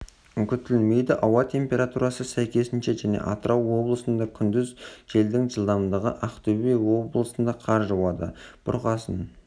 күтілмейді ауа температурасы сәйкесінше және атырау облысында күндіз желдің жылдамдығы ақтөбе облысында қар жауады бұрқасын